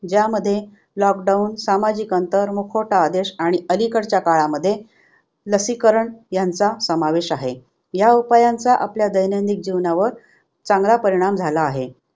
ज्यामध्ये lockdown, सामाजिक अंतर, मुखवटा आदेश आणि अलीकडच्या काळामध्ये लसीकरण ह्यांचा समावेश आहे. ह्या उपायांचा आपल्या दैनंदिक जीवनावर चांगला परिणाम झाला आहे.